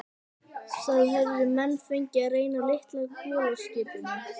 Það höfðu menn fengið að reyna á litla kolaskipinu